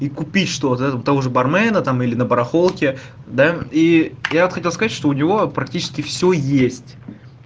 и купить что-то у то-гоже бармена там или на барахолке да и я вот хотел сказать что у него практически всё есть